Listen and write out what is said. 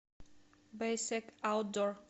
бэйсек аутдор